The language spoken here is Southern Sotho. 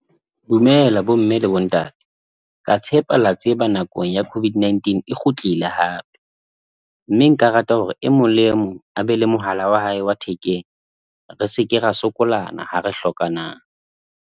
Dumela bomme le bontate ka tshepa la tseba nako ya COVID-19 e kgutlile hape mme nka rata hore e mong le e mong a be le mohala wa hae wa thekeng. Re seke ra sokolana ha re hlokanang.